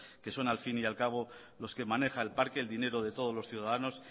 que son al fin y al cabo los que maneja el parque el dinero de todos los ciudadanos